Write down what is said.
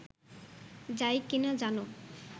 যায় কি না জানো